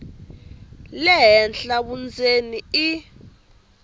le henhla vundzeni i